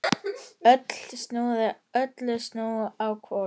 Öllu snúið á hvolf.